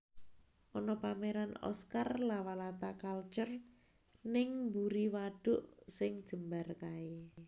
Ono pameran Oscar Lawalata Culture ning mburi waduk sing jembar kae